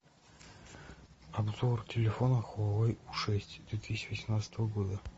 обзор телефона хуавей у шесть две тысячи восемнадцатого года